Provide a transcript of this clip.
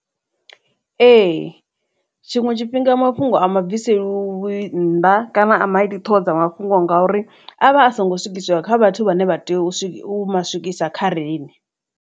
Ee tshiṅwe tshifhinga mafhungo ama bviseliwi nnḓa kana a maiti ṱhoho dza mafhungo ngori avha a songo swikiswa kha vhathu vhane vha tea u swikisa khariṋe.